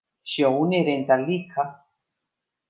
Sjóni reyndar líka.